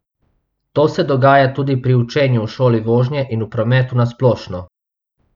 To se dogaja tudi pri učenju v šoli vožnje in v prometu na splošno.